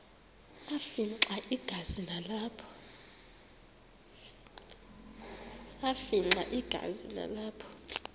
afimxa igazi nalapho